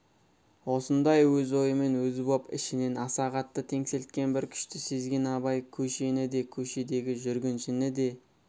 осындай өз ойымен өзі боп ішінен аса қатты теңселткен бір күшті сезген абай көшені де көшедегі жүргіншіні де